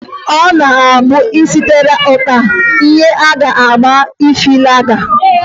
Ọ na-abụ e sekarịa uta, ihe a ga-agba efelaga.